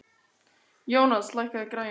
Jónas, lækkaðu í græjunum.